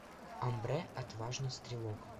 омбре отважный стрелок